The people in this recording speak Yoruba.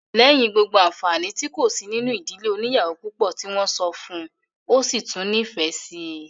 Lẹ́yìn gbogbo àǹfàni tí kò sí nínú ìdílé oníyàwó púpọ̀ tí wọ́n sọ fún un, ó sì tún nífẹ̀ẹ́ síi